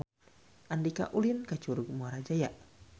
Andika ulin ka Curug Muara Jaya